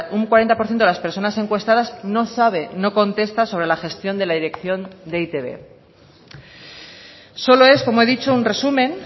un cuarenta por ciento de las personas encuestadas no sabe no contesta sobre la gestión de la dirección de e i te be solo es como he dicho un resumen